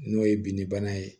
N'o ye binni bana ye